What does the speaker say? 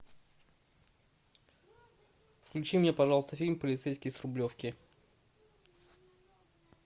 включи мне пожалуйста фильм полицейский с рублевки